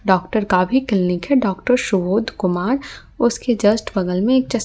doctor का भी clinic है डॉक्टर शुबोध कुमार उसके जस्ट बगल में एक--